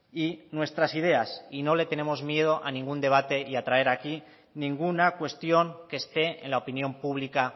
y nuestras ideas y no le tenemos miedo a ningún debate y a traer aquí ninguna cuestión que esté en la opinión pública